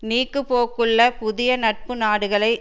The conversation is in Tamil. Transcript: நீக்குப் போக்குள்ள புதிய நட்பு நாடுகளை